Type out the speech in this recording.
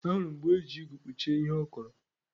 Ahụrụ m mgbe o ji igu kpuchie ihe ọ kọrọ